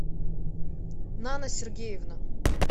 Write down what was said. нана сергеевна